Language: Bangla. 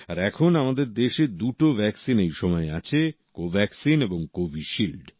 আর এখন আমাদের দেশে দুটো ভ্যাকসিন এইসময় আছে কোভ্যাকসিন এবং কোভিশিল্ড